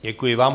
Děkuji vám.